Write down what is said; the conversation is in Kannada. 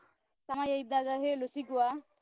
ಸಮಯ ಇದ್ದಾಗ ಹೇಳು ಸಿಗುವ.